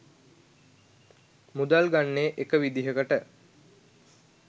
මුදල් ගන්නේ එක විදිහකට.